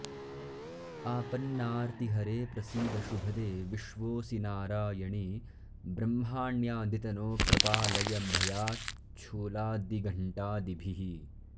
आपन्नार्तिहरे प्रसीद शुभदे विश्वोऽसि नारायणि ब्रह्माण्यादितनो प्रपालय भयाच्छूलादिघण्टादिभिः